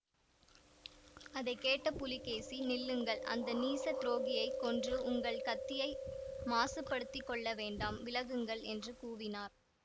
அதை கேட்ட புலிகேசி நில்லுங்கள் அந்த நீசத் துரோகியைக் கொன்று உங்கள் கத்தியை மாசுப்படுத்திக் கொள்ள வேண்டாம் விலகுங்கள் என்று கூவினார்